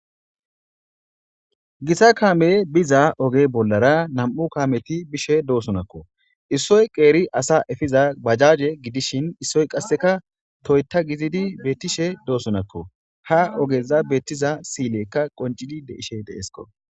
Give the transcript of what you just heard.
Gita kaameyi biza oge bollara nam'u kaameti bishe dosonko, issoyi qeri asa efiza bajaje gidishn issoy qaseka Toyota gidid betishe dosonako, ha ogeza beetiza sil'ileyka qoncidi de'ishe de'esko.